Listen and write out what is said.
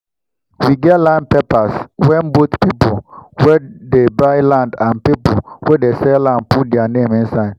we get land papers wen both pipu wen dey buy land and pipu wen dey sell land put their name inside